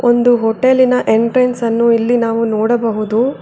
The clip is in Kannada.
ಒಂದು ಹೋಟೆಲಿನ ಎಂಟ್ರೆನ್ಸ್ ಅನ್ನು ಇಲ್ಲಿ ನಾವು ನೋಡಬಹುದು.